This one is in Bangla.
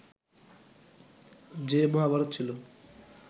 যে মহাভারত ছিল